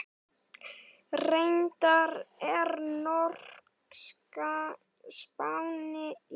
Reyndar er norska spáin fín.